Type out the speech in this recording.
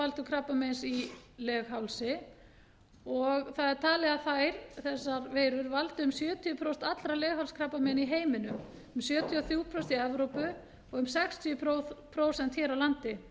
aðalorsakavaldur krabbameins í leghálsi það er talið að þessar veirur valdi um sjötíu prósent allra leghálskrabbameina í heiminum um sjötíu og þrjú prósent í evrópu og um sextíu prósent hér á landi